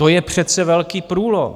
To je přece velký průlom.